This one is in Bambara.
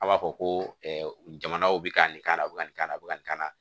A b'a fɔ ko jamanaw bɛ ka nin kan na a bɛ ka nin k'a la a bɛ ka nin k'an na